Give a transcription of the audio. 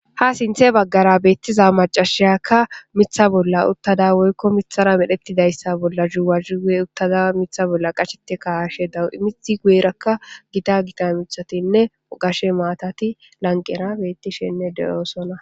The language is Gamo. Ha sinthe baggara beettiza macashiyakka mitha bolla uttada woykko mithara medhettidayssa bolla zuwazi gue uttada mitha bolla qachete kawashe dawu'midi gueerakka gida gita mithatinne ogashe maatati lanqera beettishenne deyoosona.